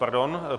Pardon.